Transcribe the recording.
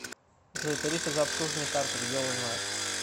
джой тарифы за обслуживание карты где узнать